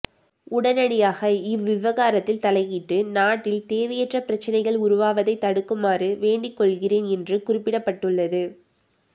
உடனடியாக இவ்விவகாரத்தில் தலையிட்டு நாட்டில் தேவையற்ற பிரச்சினைகள் உருவாவதைத் தடுக்குமாறு வேண்டிக்கொள்கிறேன் என்று குறிப்பிடப்பட்டுள்ளது